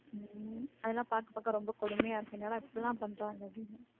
உம் அதெல்லாம் பார்க்க பார்க்க ரொம்ப கொடுமையா இருக்கு என்னடா இப்படிலாம் பண்றாங்க அப்படீன்னு